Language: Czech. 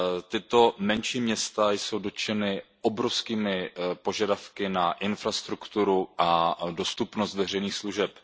Tato menší města jsou dotčena obrovskými požadavky na infrastrukturu a dostupnost veřejných služeb.